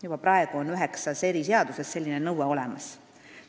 Juba praegu on üheksas eri seaduses selline nõue olemas.